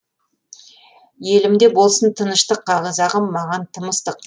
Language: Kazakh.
елімде болсын тыныштық қазағым маған тым ыстық